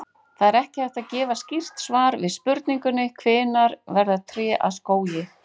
Það er ekki hægt að gefa skýrt svar við spurningunni hvenær verða tré að skógi.